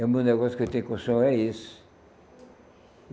É o meu negócio que eu tenho com o senhor, é isso.